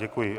Děkuji.